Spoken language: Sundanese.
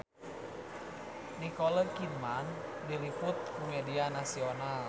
Nicole Kidman diliput ku media nasional